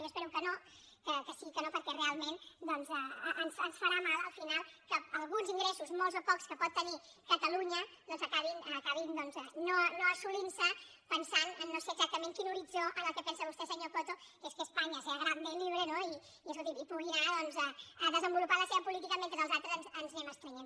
jo espero que no que sigui que no perquè realment ens farà mal al final que alguns ingressos molts o pocs que pot tenir catalunya acabin doncs no assolint·se pensant en no sé exactament quin horit·zó en què pensa vostè senyor coto que és que espa·nya sea grande y libre no i escolti’m que pugui anar a desenvolupar la seva política mentre els altres ens anem estrenyent